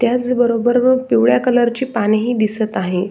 त्याच बरोबर पिवळ्या कलरची पाने ही दिसत आहे.